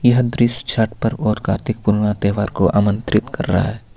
यह दृश्य छट पर्व और कार्तिक पूर्णिमा तहेवार को आमंत्रित कर रहा है.